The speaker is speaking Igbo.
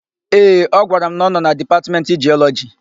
Ee, ọ gwara m na ọ nọ na Dipatmentị Jiọlọjị.